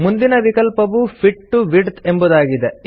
ಮುಂದಿನ ವಿಕಲ್ಪವು fit to width ಎಂಬುದಾಗಿದೆ